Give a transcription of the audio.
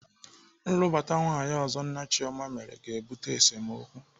Nlụbata nwaanyị ọzọ nna Chioma mere ga-ebute esemokwu.